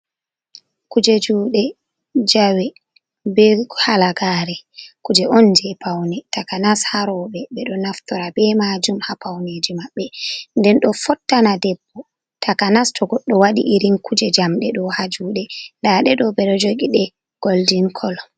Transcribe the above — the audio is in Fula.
Kuuje juuɗe jawe be halagare kuuje on je paune takanas ha roɓe ɓe ɗo naftora be maajum ha pauneji maɓɓe, nden ɗo fottana debbo takanas to godɗo waɗi irin kuuje jamɗe ɗo ha juuɗe, nda ɗe ɗo ɓe ɗo joogi ɗe goldin koolo.